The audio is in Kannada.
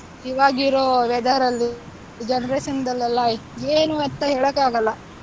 ಇವಾಗ ಇರೋ weather ಅಲ್ಲಿ Generation ದಲ್ಲೆಲ್ಲ ಏನು ಅಂತ ಹೇಳಕ್ ಆಗಲ್ಲ,